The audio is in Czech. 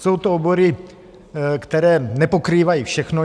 Jsou to obory, které nepokrývají všechno.